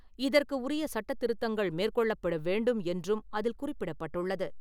இதற்கு உரிய சட்டத்திருத்தங்கள் மேற்கொள்ளப்பட வேண்டும் என்றும் அதில் குறிப்பிடப்பட்டுள்ளது.